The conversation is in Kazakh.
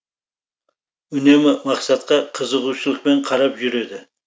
үнемі мақсатқа қызығушылықпен қарап жүреді